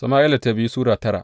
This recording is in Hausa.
biyu Sama’ila Sura tara